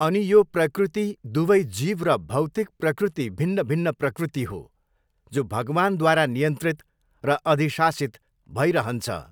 अनि यो प्रकृति दुवै जीव र भौतिक प्रकृति भिन्न भिन्न प्रकृति हो जो भगवान्द्वारा नियन्त्रित र अधिशासित भईरहन्छ।